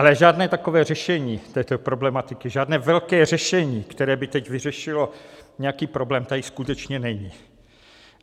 Ale žádné takové řešení této problematiky, žádné velké řešení, které by teď vyřešilo nějaký problém, tady skutečně není.